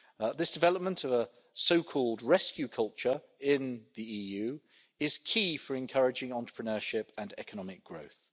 This development of a so called rescue culture in the EU is key for encouraging entrepreneurship and economic growth.